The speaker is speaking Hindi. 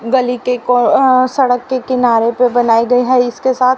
गली के कोर अ सड़क के किनारे पे बनाई गई हैं इसके साथ--